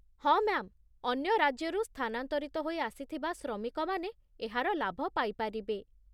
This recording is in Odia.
ହଁ ମ୍ୟା'ମ୍, ଅନ୍ୟ ରାଜ୍ୟରୁ ସ୍ଥାନାନ୍ତରିତ ହୋଇ ଆସିଥିବା ଶ୍ରମିକମାନେ ଏହାର ଲାଭ ପାଇପାରିବେ